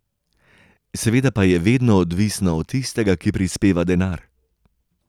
Seveda pa je vedno odvisno od tistega, ki prispeva denar.